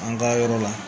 An ka yɔrɔ la